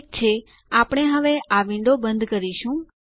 ઠીક છે આપણે હવે આ વિન્ડો બંધ કરીશું